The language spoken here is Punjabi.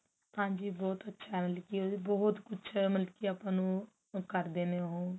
ਹਾਂਜੀ ਬਹੁਤ ਅੱਛਾ ਮਤਲਬ ਕੀ ਉਹਦੀ ਬਹੁਤ ਕੁਛ ਹੈ ਮਤਲਬ ਕੀ ਆਪਾਂ ਨੂੰ ਕਰਦੇ ਨੇ ਉਹ